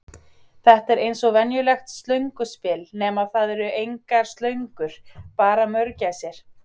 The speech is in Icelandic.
Þetta er eins og venjulegt Slönguspil, nema það eru engar slöngur, bara mörgæsir.